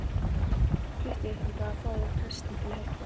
Flýttu þér þangað og fáðu prestinn til að hjálpa þér.